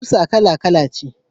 Kusa kala-kala ce.